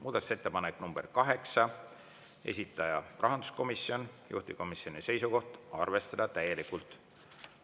Muudatusettepanek nr 8, esitaja on rahanduskomisjon, juhtivkomisjoni seisukoht on arvestada täielikult.